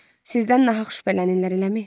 Sizdən nahaq şübhələnirlər eləmi?